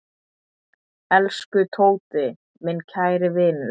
Elsku Tóti, minn kæri vinur.